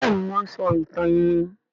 Béèni wón ń sọ ìtàn iwin.